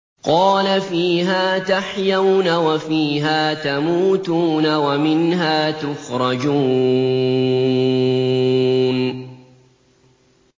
قَالَ فِيهَا تَحْيَوْنَ وَفِيهَا تَمُوتُونَ وَمِنْهَا تُخْرَجُونَ